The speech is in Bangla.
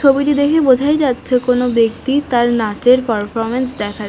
ছবিটি দেখে বোঝাই যাচ্ছে কোনো ব্যাক্তি তার নাচ এর পারফরম্যান্স দেখা--